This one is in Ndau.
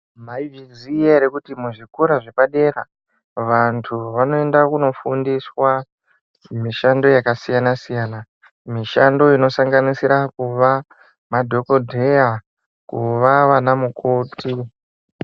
Mai zviziya ere kuti mu zvikora zve padera vantu vanoenda kuno fundiswa mishando yaka siyana siyana mishando ino sanganisira kuva madhokodheya kuva vana mukoti.